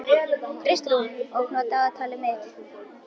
Kristrún, opnaðu dagatalið mitt.